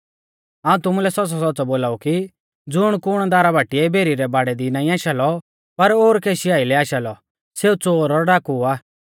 हाऊं तुमुलै सौच़्च़ौसौच़्च़ौ बोलाऊ कि ज़ुणकुण दारा बाटीऐ भेरी रै बाड़ै दी नाईं आशा लौ पर और केशी यालै आशा लौ सेऊ च़ोर और डाकू आ